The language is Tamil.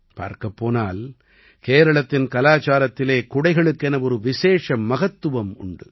பார்க்கப்போனால் கேரளத்தின் கலாச்சாரத்திலே குடைகளுக்கென ஒரு விசேஷ மகத்துவமுண்டு